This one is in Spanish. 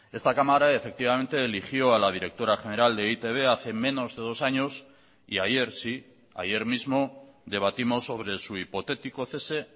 esta cámara efectivamente eligió a la directora general de e i te be hace menos de dos años y ayer sí ayer mismo debatimos sobre su hipotético cese